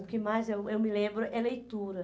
O que mais eu eu me lembro é leitura.